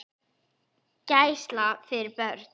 Gæsla fyrir börn.